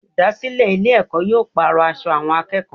Olùdásílè Ilé èkó yóò pàrò aṣọ àwọn akéèkòó